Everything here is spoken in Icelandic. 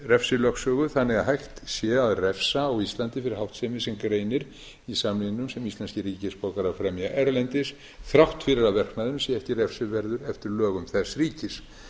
refsilögsögu þannig að hægt sé að refsa á íslandi fyrir háttsemi sem greinir í samningnum sem íslenskir ríkisborgarar fremja erlendis þrátt fyrir að verknaðurinn sé ekki refsiverður eftir lögum þess ríkis